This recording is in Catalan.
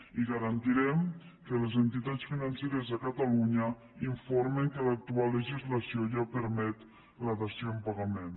i garantirem que les entitats financeres de catalunya informen que l’actual legislació ja permet la dació en pagament